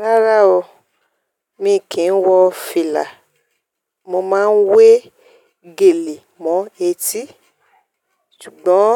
Rárá o, mi kì ń wọ fìlà, mo máa ń wé gèlè mọ etí. Ṣùgbọ́n